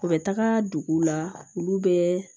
U bɛ taga duguw la olu bɛ